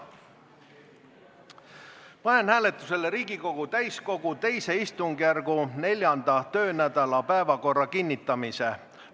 Panen hääletusele Riigikogu täiskogu II istungjärgu 4. töönädala päevakorra kinnitamise.